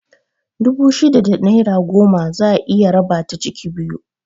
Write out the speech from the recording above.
Dubu shida da naira goma za'a iya raba ta ciki biyu